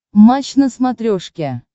матч на смотрешке